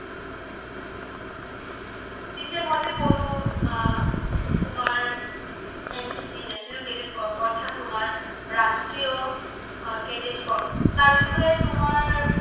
পিছে মই যে কলো তোমাৰ NCC National cadet corps অৰ্থাৎ ৰাষ্ট্ৰীয় cadet corps তাৰ্বিষয়ে তোমাৰ